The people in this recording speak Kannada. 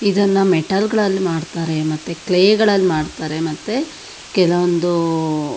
ಇದನ್ನ ಮೆಟಲ್ ಗಳಲ್ಲಿ ಮಾಡತ್ತರೆ ಮತ್ತೆ ಕ್ಲೇ ಗಳಲ್ಲಿ ಮಾಡತ್ತರೆ ಮತ್ತೆ ಕೆಲವಂದು --